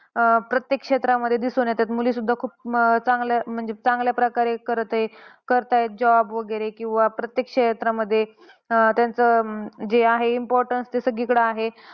अं प्रत्येक क्षेत्रामध्ये दिसून येते की मुलीसुद्धा खूप चांगल्या म्हणजे चांगल्या प्रकारे करत आहे. करतात job वगैरे किंवा प्रत्येक क्षेत्रामध्ये त्यांचे जे आहे importance ते सगळीकडे आहे